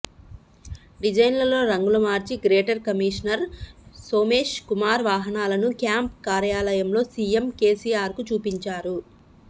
డిజైన్లలో రంగులు మార్చి గ్రేటర్ కమిషనర్ సోమేష్ కుమార్ వాహనాలను క్యాంప్ కార్యాలయంలో సీఎం కేసీఆర్కు చూపించారు